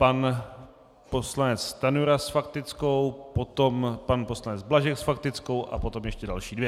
Pan poslanec Stanjura s faktickou, potom pan poslanec Blažek s faktickou a potom ještě další dvě.